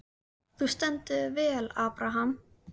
Þú stendur þig vel, Abraham!